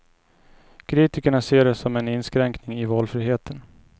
Kritikerna ser det som en inskränkning i valfriheten.